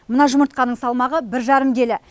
мына жұмыртқаның салмағы бір жарым келі